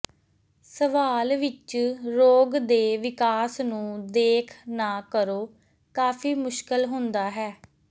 ਸਵਾਲ ਵਿੱਚ ਰੋਗ ਦੇ ਵਿਕਾਸ ਨੂੰ ਦੇਖ ਨਾ ਕਰੋ ਕਾਫ਼ੀ ਮੁਸ਼ਕਲ ਹੁੰਦਾ ਹੈ